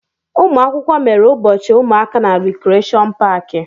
Ụmụ akwụkwọ mere ụbọchị ụmụaka na Rekreshọn paaki.